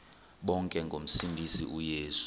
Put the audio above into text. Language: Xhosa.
bonke ngomsindisi uyesu